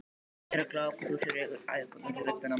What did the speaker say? Gerður glápandi úr sér augun, æpandi úr sér röddina.